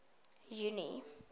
junie